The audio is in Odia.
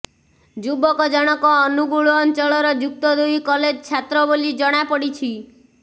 ଯୁବକ ଜଣକ ଅନୁଗୁଳ ଅଞ୍ଚଳର ଯୁକ୍ତ ଦୁଇ କଲେଜ ଛାତ୍ର ବୋଲି ଜଣାପଡ଼ିଛି